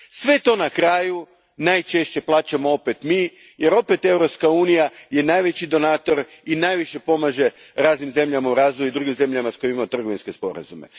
Sve to na kraju najčešće opet plaćamo mi, jer je Europska unija najveći donator i najviše pomaže raznim zemljama u razvoju, drugim zemljama s kojima imamo trgovinske sporazume.